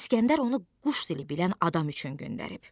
İsgəndər onu quş dili bilən adam üçün göndərib.